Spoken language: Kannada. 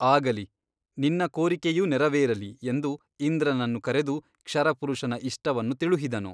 ಆಗಲಿ ನಿನ್ನ ಕೋರಿಕೆಯೂ ನೆರವೇರಲಿ ಎಂದು ಇಂದ್ರನನ್ನು ಕರೆದು ಕ್ಷರಪುರುಷನ ಇಷ್ಟವನ್ನು ತಿಳುಹಿದನು.